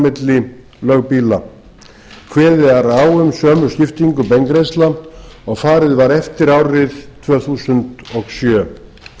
milli lögbýla kveðið er á um sömu skiptingu beingreiðslna og farið var eftir árið tvö þúsund og sjö